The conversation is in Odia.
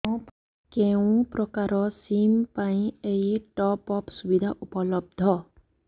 କେଉଁ ପ୍ରକାର ସିମ୍ ପାଇଁ ଏଇ ଟପ୍ଅପ୍ ସୁବିଧା ଉପଲବ୍ଧ